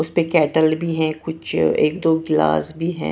उसपे केटल भी है कुछ एक दो गिलास भी है।